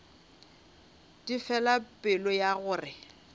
di fela pelo ya gore